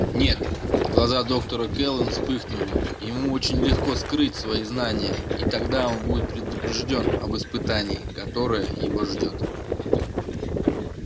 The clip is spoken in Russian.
нет глаза доктора кэлвин вспыхнули ему очень легко скрыть свои знания и тогда он будет предупреждён об испытании которое его ждёт